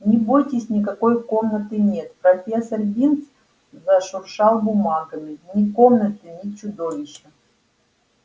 не бойтесь никакой комнаты нет профессор бинс зашуршал бумагами ни комнаты ни чудовища